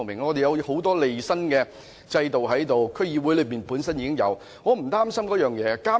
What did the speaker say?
我們有很多利益申報的制度，區議會本身已有這制度，我對此並不擔心。